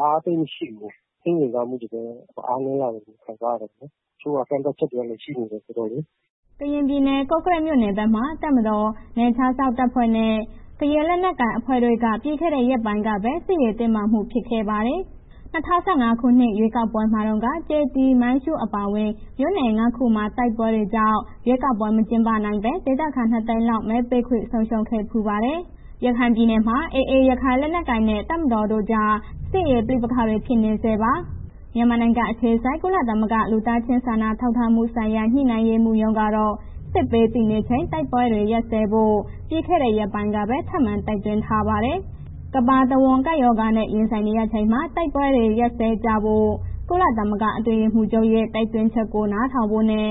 အားသိပ်မရှိဘူး၊ ရွေးကောက်ပွဲကို အားသိပ်မရှိဘူး၊ စိတ်ဝင်စားမှုလည်း အားတယ်လို့ ခံစားရတယ်၊ တချို့က ကန့်သတ်ချက်လည်းရှိနေတယ်ဆိုတော့လေး။” ကရင်ပြည်နယ် ကော့ကရိတ်မြို့နယ်ဘက်မှာ တပ်မတော်၊ ကရင်နယ်ခြားစောင့်တပ်ဖွဲ့နဲ့ ကရင်လက်နက်ကိုင်အဖွဲ့တို့က ပြီးခဲ့တဲ့ ရက်ပိုင်းကပဲ စစ်ရေးတင်မားမှုတွေဖြစ်ပွားခဲ့ပါတယ်။ ၂၀၁၅ ခုနှစ် ရွေးကောက်ပွဲမှာတော့ ကျေးသီး၊ မိုင်းရှူး အပါအဝင် မြို့နယ် ၅ ခုမှာ တိုက်ပွဲတွေကြောင့် ရွေးကောက်ပွဲမကျင်းပနိုင်ဘဲ ဒေသခံ ၂၀၀,၀၀၀ လောက် မဲပေးခွင့် ဆုံးရှုံးခဲ့ဖူးပါတယ်။ ရခိုင်ပြည်နယ်မှာလည်း AA ရခိုင်လက်နက်ကိုင် နဲ့ တပ်မတော်တို့ကြား လက်ရှိချိန် စစ်ရေးပဋိပက္ခတွေ ဖြစ်နေဆဲပါ။ မြန်မာနိုင်ငံ အခြေစိုက် ကုလသမဂ္ဂ လူသားချင်းစာနာထောက်ထားမှုဆိုင်ရာ ညှိနှိုင်းရေးမှူးရုံးကတော့ ကပ်ဘေးသင့်နေချိန် တိုက်ခိုက်မှုတွေ ရပ်စဲဖို့ ပြီးခဲ့ရက်ပိုင်းကပဲ ထပ်မံတိုက်တွန်းထားပါတယ်။ ကမ္ဘာတဝန်း ကပ်ရောဂါနဲ့ ရင်ဆိုင်နေရချိန်မှာ တိုက်ခိုက်မှုတွေ ရပ်စဲကြဖို့ ကုလသမဂ္ဂ အတွင်းရေးမှူးချုပ်ရဲ့ တိုက်တွန်းချက်ကို နားထောင်ဖို့နဲ့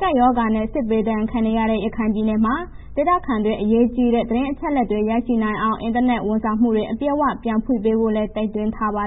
ကပ်ရောဂါနဲ့ စစ်ဘေးဒဏ်ပါခံနေရတဲ့ ရခိုင်ပြည်နယ်မှာ ဒေသခံတွေ အရေးကြီးတဲ့ သတင်းအချက်အလက်တွေ ရရှိနိုင်အောင် အင်တာနက်ဝန်ဆောင်မှုတွေ အပြည့်အဝ ပြန်ဖွင့်ပေးဖို့လည်း တိုက်တွန်းထားပါ